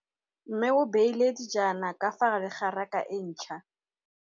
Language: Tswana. Mmê o beile dijana ka fa gare ga raka e ntšha.